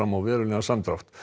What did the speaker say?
á verulegan samdrátt